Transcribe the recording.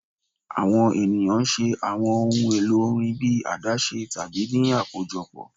Awọn eniyan ṣe awọn ohun elo orin bi adashe tabi ni akojọpọ